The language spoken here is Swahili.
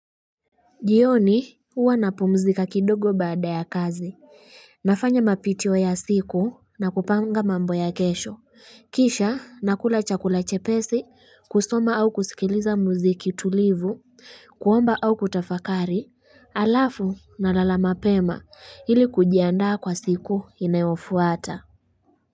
Jioni huwa napumzika kidogo baada ya kazi nafanya mapitio ya siku na kupanga mambo ya kesho kisha nakula chakula chepesi kusoma au kusikiliza muziki tulivu kuomba au kutafakari alafu nalala mapema hili kujiandaa kwa siku inayofuata.